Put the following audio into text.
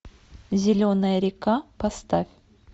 зеленая река поставь